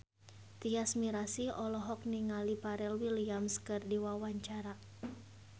Tyas Mirasih olohok ningali Pharrell Williams keur diwawancara